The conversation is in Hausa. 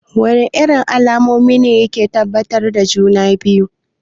Wana irin alamomi ne yake tabbatar da juna-biyu?